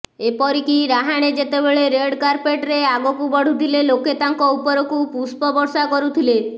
ଏପରିକି ରାହାଣେ ଯେତେବେଳେ ରେଡ୍ କାର୍ପେଟରେ ଆଗକୁ ବଢ଼ୁଥିଲେ ଲୋକେ ତାଙ୍କ ଉପରକୁ ପୁଷ୍ପ ବର୍ଷା କରୁଥିଲେ